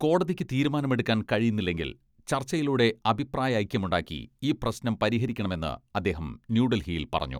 കോടതിക്ക് തീരുമാനമെടുക്കാൻ കഴിയുന്നില്ലെങ്കിൽ ചർച്ചയിലൂടെ അഭിപ്രായൈക്യമുണ്ടാക്കി ഈ പ്രശ്നം പരിഹരിക്കണമെന്ന് അദ്ദേഹം ന്യൂഡൽഹിയിൽ പറഞ്ഞു.